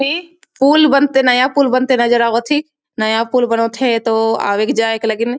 ते पूल बनते नया पूल बनते नज़र आवत ही नया पूल बनोत है तो आवत जाएक लगीन --